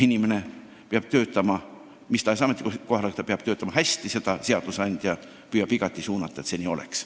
Inimene peab töötama mis tahes ametikohal hästi ja seadusandja püüab igati suunata, et see nii ka oleks.